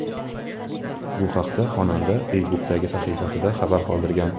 Bu haqda xonanda Facebook’dagi sahifasida xabar qoldirgan.